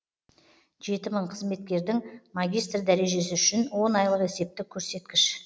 жеті мың қызметкердің магистр дәрежесі үшін он айлық есептік көрсеткіш